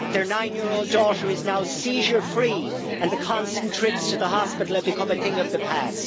Their nine year old daughter is now seizure free and the constant trips to the hospital have become a thing of the past.